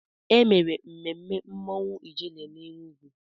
E mere mmemme mmọnwụ Ijele n'Enugwu.